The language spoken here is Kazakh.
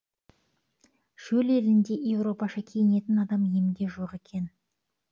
шөл елінде европаша киінетін адам емге жоқ екен